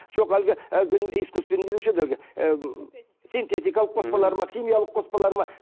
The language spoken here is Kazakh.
жоқ әлгі искусственный не деуші еді әлгі ы синтетикалық қоспалар ма химиялық қоспалар ма